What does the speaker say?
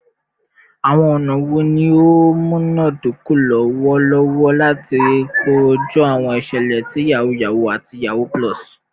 Awọn ọna wo ni o munadoko lọwọlọwọ lati koju awọn iṣẹlẹ ti yahoo yahoo ati yahoo +?